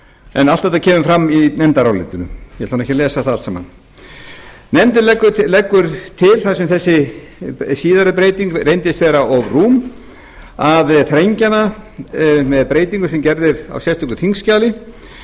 en allt þetta kemur fram í nefndarálitinu ég ætla ekki að lesa það allt saman nefndin leggur til þar sem síðari breyting reyndist vera of rúm að þrengja hana með breytingu sem gerð er á sérstöku þingskjali